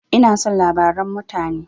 Ina son labaran mutane.